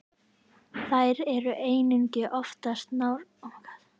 Þær eru einnig oftast náskyldar tegundum með lægri kjörhita.